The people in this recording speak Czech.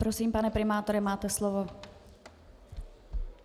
Prosím, pane primátore, máte slovo.